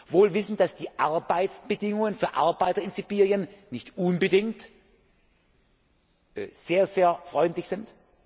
gibt? Wohl wissend, dass die Arbeitsbedingungen für Arbeiter in Sibirien nicht unbedingt sehr freundlich